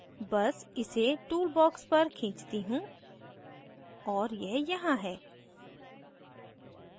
box इसे tool box पर खींचती हूँ और यह यहाँ है